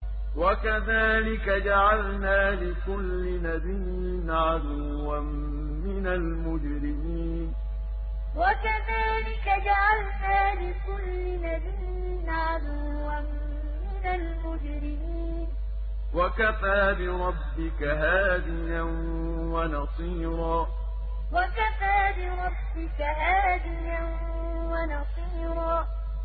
وَكَذَٰلِكَ جَعَلْنَا لِكُلِّ نَبِيٍّ عَدُوًّا مِّنَ الْمُجْرِمِينَ ۗ وَكَفَىٰ بِرَبِّكَ هَادِيًا وَنَصِيرًا وَكَذَٰلِكَ جَعَلْنَا لِكُلِّ نَبِيٍّ عَدُوًّا مِّنَ الْمُجْرِمِينَ ۗ وَكَفَىٰ بِرَبِّكَ هَادِيًا وَنَصِيرًا